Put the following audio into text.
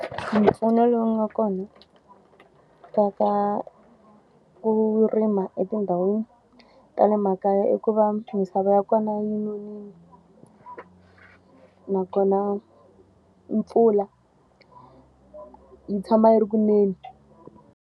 Mimpfuno lowu nga kona ka ka ku rima etindhawini ta le makaya i ku va misava ya kona yi nonile. Nakona mpfula yi tshama yi ri ku neni.